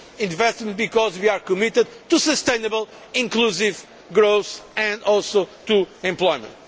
investment, being committed to sustainable, inclusive growth and also to employment.